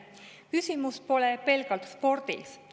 Küsimused pelgalt spordis.